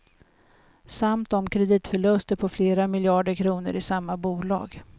Samt om kreditförluster på flera miljarder kronor i samma bolag.